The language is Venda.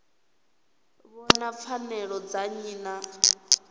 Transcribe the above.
vhona pfanelo dza nnyi na